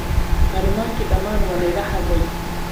Qalimmaankii dhamaan waa la iga xaday